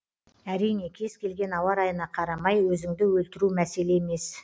әрине кез келген ауа райына қарамай өзіңді өлтіру мәселе емес